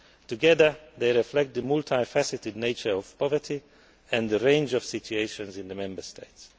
Together, they reflect the multifaceted nature of poverty and the range of situations in the Member States.